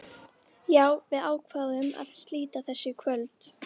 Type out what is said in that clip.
Já, við ákváðum að slíta þessu í kvöld.